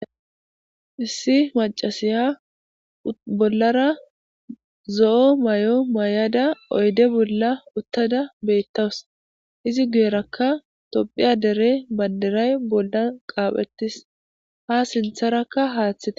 issi macasiya bollara zo7o may7o may7ada oyde bolla uttada beettawus izi guyerakka tophiya dere bandiray bolla qaaphettis ha sintharakka haaththite